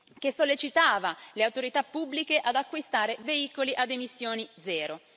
che sollecitava le autorità pubbliche ad acquistare veicoli ad emissioni zero.